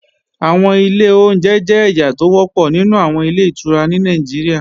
Àwọn ilé oúnjẹ jẹ́ ẹ̀yà tó wọ́pọ̀ nínú àwọn Ilé-ìtura ní Nàìjíríà